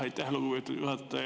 Aitäh, lugupeetud juhataja!